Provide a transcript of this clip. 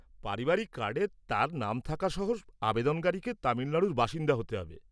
পারিবারিক কার্ডে তার নাম থাকা সহ আবেদনকারীকে তামিলনাড়ুর বাসিন্দা হতে হবে।